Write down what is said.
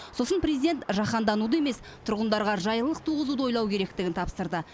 сосын президент жаһандануды емес тұрғындарға жайлылық туғызуды ойлау керектігін тапсырды